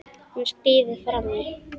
Hún skríður fram í.